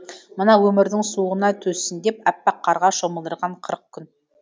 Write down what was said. мына өмірдің суығына төзсін деп аппақ қарға шомылдырған қырық күн